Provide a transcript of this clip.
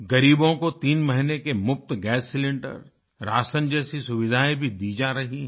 गरीबों को तीन महीने के मुफ़्त गैस सिलेंडर राशन जैसी सुविधायें भी दी जा रही हैं